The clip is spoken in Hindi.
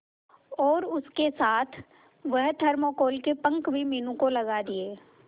और उसके साथ वह थर्माकोल के पंख भी मीनू को लगा दिए